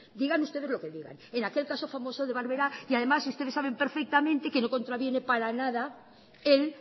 digan ustedes lo que digan en aquel caso famoso de barbera y además ustedes saben perfectamente que no contraviene para nada el